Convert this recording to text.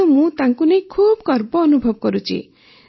ତେଣୁ ମୁଁ ତାଙ୍କୁ ନେଇ ଖୁବ୍ ଗର୍ବ ଅନୁଭବ କରୁଛି